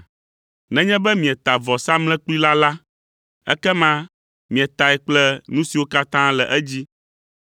Nenye be mieta vɔsamlekpui la la, ekema mietae kple nu siwo katã le edzi,